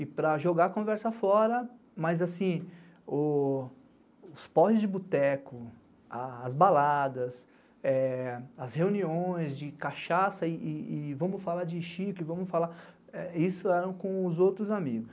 E para jogar a conversa fora, mas assim, os postes de boteco, as baladas, as reuniões de cachaça e vamos falar de Chico, isso era com os outros amigos.